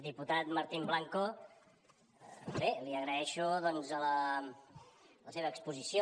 diputat martín blanco bé li agraeixo doncs la seva exposició